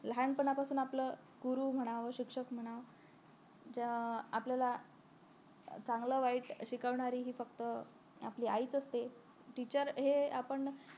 लहानापासून आपलं गुरु म्हणा शिक्षक म्हणा ज्या आपल्याला चांगलं वाईट शिकवणारी हि फक्त आपली आईच असते teacher हे आपण